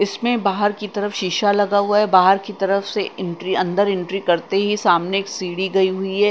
इसमें बाहर की तरफ शीशा लगा हुआ है बाहर की तरफ से एंट्री अंदर एंट्री करते ही सामने एक सीढ़ी गई हुई है .